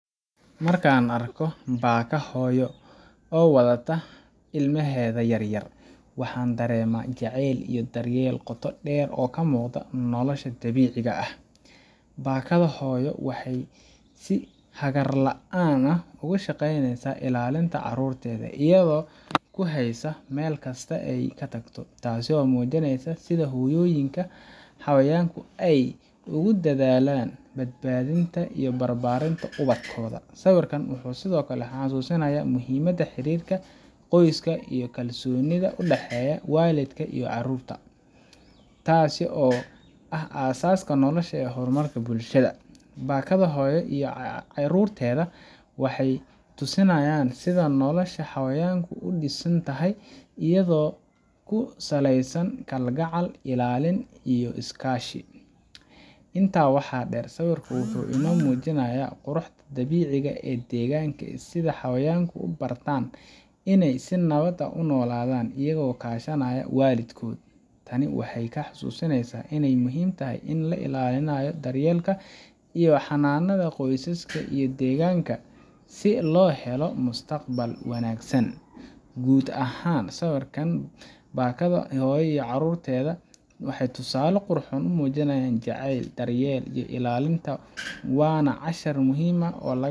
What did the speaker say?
Markan arko paka hoyo oo wadata ilmaheda yaryar waxan darema jacel iyo daryel qotoo deer oo kamugda nolosha dabiciga ah, bakada hoyo waxay si hagar laan ah ogushageyneysa ilalinta carurteda iyado kuhaysa melkasta ay katagto taasi oo mujinaysa sida hoyoyinka hawayanka ay ugudadhalan badbadinta iyo barbarinta uwadkoda, sawirka wuxu Sidhokale hasusinaya mxiimada iyo hirirka iyo kalsonida qoyska udaheya walidka iyo carurta, taasi oo ah asaska nolosha ee hormarka bulshada, bakada hoyo iyo carurteda wahay tusinayan si nolosha hawayanku udisantahay iyado kusaleysan kalgacal iilalin iyo iskashi, inta wax deer sawirku wuxu ino mujinaya qurux dabiciga ee deganka sida hawayanku uu barta inay si nawadeh unoladan iyaho kadhanaya walidkodh taani waxay kahahusinaysa inay muxiim taha in lailalinayo daryelka iyo hananada qoysaska iyo deganka si lohelo mustaqbal wanagsan, guud ahan sawirka bakada hoyo iyo carurteda waxay tusale qurxoon umujinayan jacel, daryel iyo ilalinta wana cashir muxiim ah oo laga.